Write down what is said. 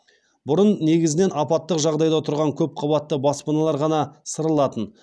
бұрын негізінен апаттық жағдайда тұрған көп қабатты баспаналар ғана сырылатын